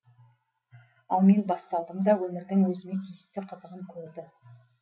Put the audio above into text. ал мен бас салдым да өмірдің өзіме тиісті қызығын көрді